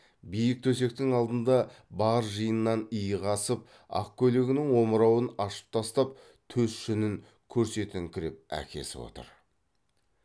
биік төсектің алдында бар жиыннан иығы асып ақ көйлегінің омырауын ашып тастап төс жүнін көрсетіңкіреп әкесі отыр